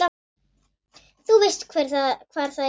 Þú veist hvar það er?